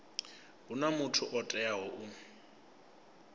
huna muthu o teaho u